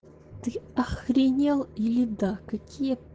ты охренел или да какие